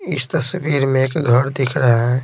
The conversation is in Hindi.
इस तस्वीर में एक घर दिख रहा है।